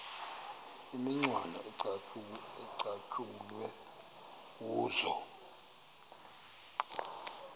imicwana ecatshulwe kuzo